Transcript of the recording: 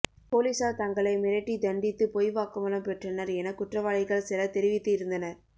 போலீசார் தங்களை மிரட்டி தண்டித்து பொய் வாக்குமூலம் பெற்றனர் என குற்றவாளிகள் சிலர் தெரிவித்து இருந்தனர்